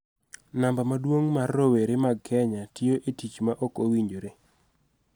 Namba maduong� mar rowere mag Kenya tiyo e tich ma ok owinjore.